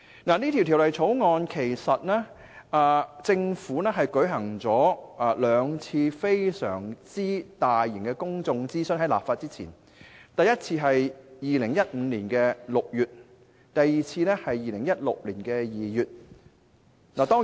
事實上，在立法前，政府曾就《條例草案》進行了兩次非常大型的公眾諮詢，第一次是在2015年6月，第二次則是在2016年2月進行。